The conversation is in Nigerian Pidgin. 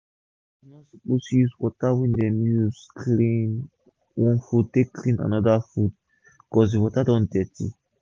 farmers no suppose use water wey dem take clean one food take clean anoda food cos d water don dirty